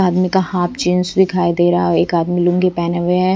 आदमी का half jeans दिखाई दे रहा है और एक आदमी लुंगी पहने हुए हैं।